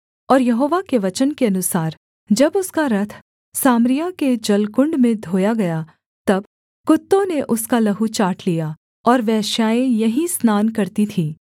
और यहोवा के वचन के अनुसार जब उसका रथ सामरिया के जलकुण्ड में धोया गया तब कुत्तों ने उसका लहू चाट लिया और वेश्याएँ यहीं स्नान करती थीं